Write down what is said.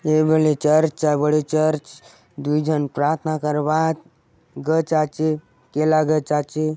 ए बले चर्च आय बड़े चर्च दूय जन प्रार्थना करबा त गच आचे केला गच आचे।